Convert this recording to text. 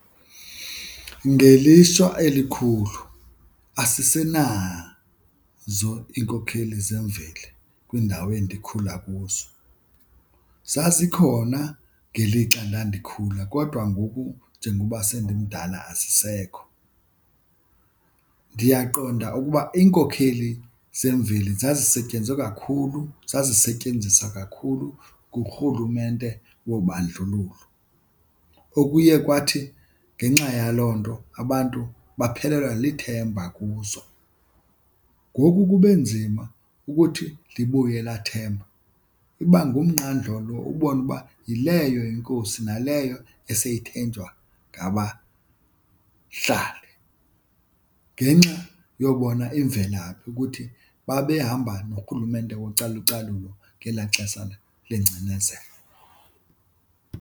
Ngelishwa elikhulu asisenazo iinkokheli zemveli kwiindawo endikhula kuzo, zazikhona ngelixa ndandikhula kodwa ngoku njengoba sendimdala azisekho. Ndiyaqonda ukuba iinkokheli zemveli zazisetyenzwe kakhulu, zazisetyenziswa kakhulu ngurhulumente wobandlululo okuye kwathi ngenxa yaloo nto abantu baphelelwa lithemba kuzo. Ngoku kube nzima ukuthi libuye elaa themba iba ngumnqandlolo ubone uba yileyo inkosi naleyo eseyithenjwa ngabahlali ngenxa yobona imvelaphi ukuthi babehamba norhulumente wocalucalulo ngelaa xesha lengcinezelo.